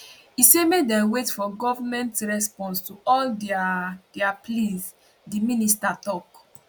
e say make dem wait for goment response to all dia dia pleas di minister tok